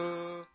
जोजोजो